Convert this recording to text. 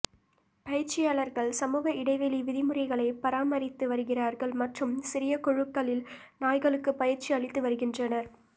பயிற்சியாளர்கள் சமூக இடைவெளி விதிமுறைகளை பராமரித்து வருகிறார்கள் மற்றும் சிறிய குழுக்களில் நாய்களுக்கு பயிற்சி அளித்து வருகின்றனர்